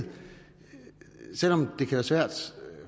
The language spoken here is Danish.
selv om det kan være svært